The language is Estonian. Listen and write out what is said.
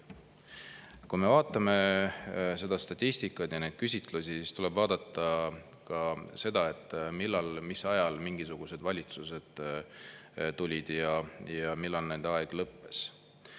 Kui me vaatame statistikat ja küsitlusi, siis tuleb vaadata ka seda, mis ajal mingisugused valitsused tulid ja millal nende aeg lõppes.